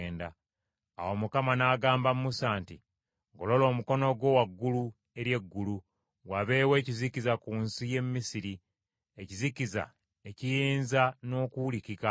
Awo Mukama n’agamba Musa nti, “Golola omukono gwo waggulu eri eggulu, wabeewo ekizikiza ku nsi ey’e Misiri; ekizikiza ekiyinza n’okuwulikika.”